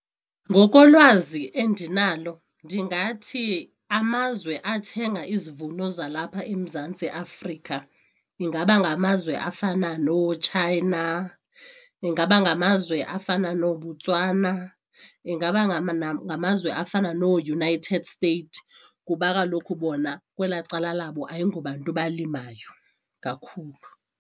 Ngokolwazi endinalo ndingathi amazwe athenga izivuno zalapha eMzantsi Afrika ingaba ngamazwe afana nooChina, ingaba ngamazwe afana nooBotswana, ingaba ngamazwe afana nooUnited States kuba kaloku bona kwelaa cala labo ayingobantu balimayo kakhulu.